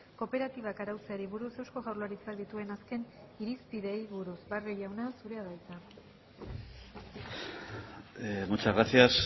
kooperatibak arautzeari buruz eusko jaurlaritzak dituen azken irizpideei buruz barrio jauna zurea da hitza muchas gracias